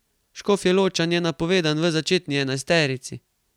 Škofjeločan je napovedan v začetni enajsterici.